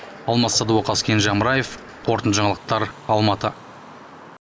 алмас садуақас кенже амраев қорытынды жаңалықтар алматы